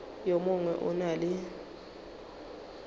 yo mongwe o na le